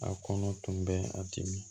A kɔnɔ tun bɛ a dimi